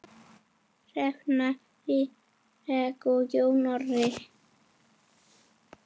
Hrefna Líneik og Jón Orri.